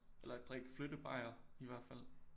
Eller drikke flyttebajere i hvert fald